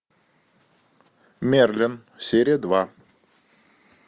мерлин серия два